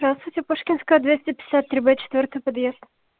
здравствуйте пушкинская двести пятьдесят три б четвёртый подъезд